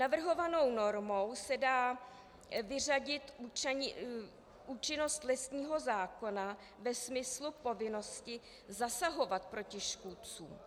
Navrhovanou normou se dá vyřadit účinnost lesního zákona ve smyslu povinnosti zasahovat proti škůdcům.